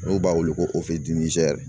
N'u b'a wele ko